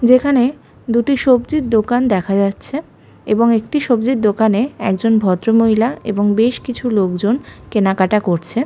যেখানে দুটি সবজির দোকান দেখা যাচ্ছে এবং একটি সবজির দোকানে একজন ভদ্রমহিলা এবং বেশ কিছু লোকজন কেনাকাটা করছে।